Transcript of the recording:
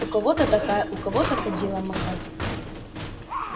у кого-то такая у кого кадилом махать